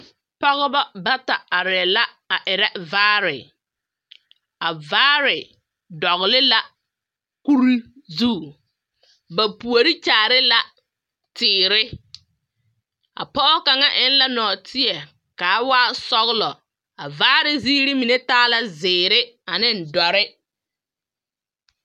Pɔgeba bata arɛɛ la a erɛ vaare. A vaare dɔgela kuri zu, ba puori kyaare la teere a pɔge kaŋa eŋla nɔɔteɛ ka a waa sɔgelɔ. A vaare ziiri mine taa la zeere aneŋ dɔre.